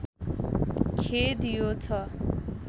खेद यो छ